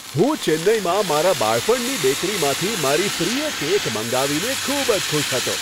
હું ચેન્નઈમાં મારા બાળપણની બેકરીમાંથી મારી પ્રિય કેક મંગાવીને ખૂબ જ ખુશ હતો.